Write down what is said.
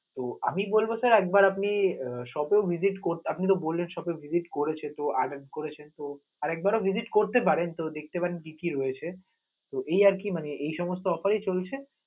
ও আমি বলব sir একবার আপনি শত visit ক~ আপনি তো বললেন তো শত visit করেছে, আরেক বার তো visite করতে পারেন, তো দেখতে পারেন যে, কি কি রয়েছে, তো এই আরকি মানে এই সমস্ত offer ই চলছে.